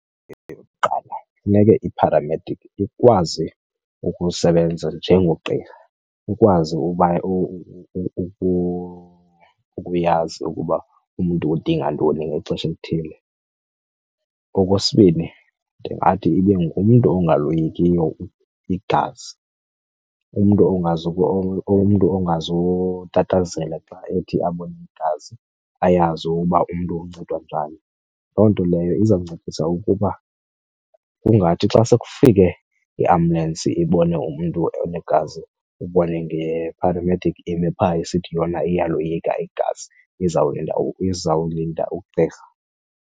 Eyokuqala, funeke ipharamedikhi ikwazi ukusebenza njengogqirha. Ukwazi uba ukuyazi ukuba umntu udinga ntoni ngexesha elithile. Okwesibini, ndingathi ibe ngumntu ongaloyikiyo igazi, umntu ongazotatazela xa ethi abone igazi, ayazi uba umntu uncedwa njani. Loo nto leyo izawuncedisa ukuba kungathi xa sekufike iambulensi ibone umntu onegazi ubone ngepharamedikhi ime phaa isithi yona iyaloyika igazi izawulinda ugqirha.